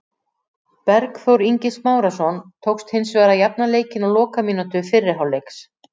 Bergþór Ingi Smárason tókst hins vegar að jafna leikinn á lokamínútu fyrri hálfleiks.